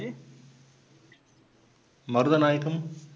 Marudhanayagam